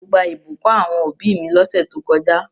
Mo gbà ìbùkún àwon òbí mi lósẹ̀ to kojá